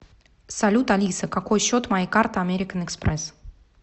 салют алиса какой счет моей карты американ экспресс